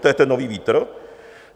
To je ten nový vítr?